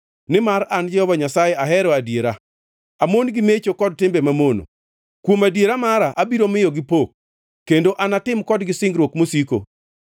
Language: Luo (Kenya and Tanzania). “Nimar an Jehova Nyasaye ahero adiera, amon gi mecho kod timbe mamono. Kuom adiera mara abiro miyogi pok kendo anatim kodgi singruok mosiko.